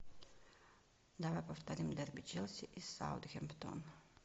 давай повторим дерби челси и саутгемптон